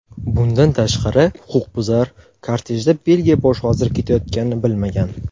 Bundan tashqari, huquqbuzar kortejda Belgiya bosh vaziri ketayotganini bilmagan.